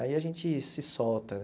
Aí a gente se solta,